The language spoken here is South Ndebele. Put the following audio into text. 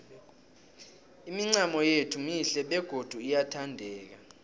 imincamo yethu mihle begodu iyathandeka